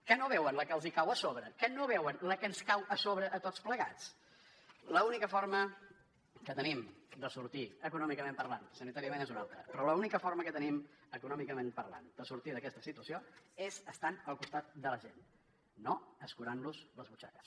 que no veuen la que els cau a sobre que no veuen la que ens cau a sobre a tots plegats l’única forma que tenim de sortir ne econòmicament parlant sanitàriament és una altra però l’única forma que tenim econòmicament parlant de sortir d’aquesta situació és estant al costat de la gent no escurant los les butxaques